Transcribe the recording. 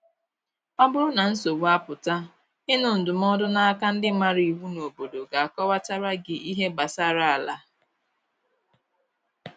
Ọ bụrụ na nsogbu apụta, ịnụ ndụmọdụ na aka ndi maara iwu n’obodo ga akọwata ra gi ihe gbasara ala